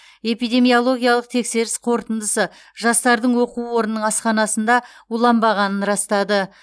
эпидемиологиялық тексеріс қорытындысы жастардың оқу орнының асханасында уланбағанын растады